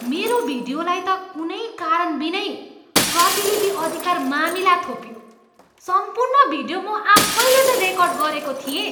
मेरो भिडियोलाई त कुनै कारणबिनै प्रतिलिपि अधिकार मामिला थोपियो। सम्पूर्ण भिडियो म आफैले त रेकर्ड गरेको थिएँ।